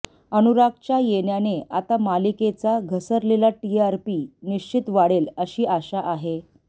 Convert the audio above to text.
अनुरागच्या येण्याने आता मालिकेचा घसरलेला टीआरपी निश्चित वाढेल अशी आशा आहे